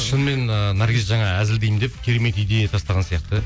шынымен ыыы наргиз жаңа әзілдеймін деп керемет идея тастаған сияқты